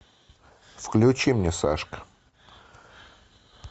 включи мне сашка